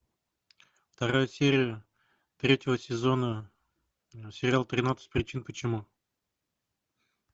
вторая серия третьего сезона сериал тринадцать причин почему